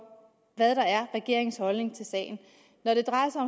hvad der er regeringens holdning til sagen når det drejer sig